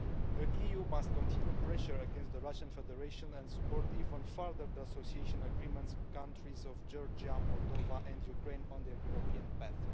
The EU must continue pressure against the Russian Federation and support even further the association agreement countries of Georgia, Moldova and Ukraine on their European path.